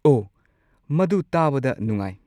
ꯑꯣ, ꯃꯗꯨ ꯇꯥꯕꯗ ꯅꯨꯡꯉꯥꯏ꯫